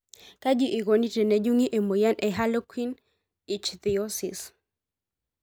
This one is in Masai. Kaji eikoni tenejungi emoyian e harlequin ichthyosis?